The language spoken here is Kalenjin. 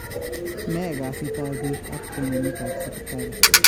Ne kasit ap pik ap tononet ap Sipitali?